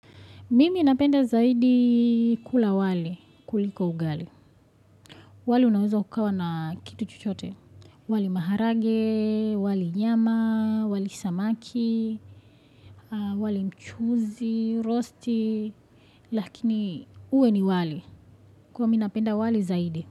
Mimi napenda zaidi kula wali kuliko ugali. Wali unaweza ukawa na kitu chochote. Wali maharage, wali nyama, wali samaki, wali mchuzi, rosti. Lakini uwe ni wali kuwa mi napenda wali zaidi.